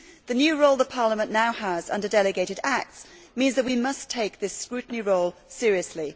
The new role the Parliament now has under delegated acts means that we must take this scrutiny role seriously.